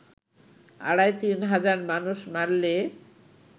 আড়াই-তিন হাজার মানুষ মারলে